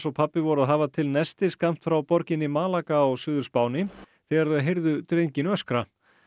pabbi voru að hafa til nesti skammt frá borginni á Suður Spáni þegar þau heyrðu drenginn öskra